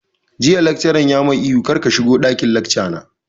Jiya laccaran ya mai ihu 'kar ka shigo ɗakin lacca na'!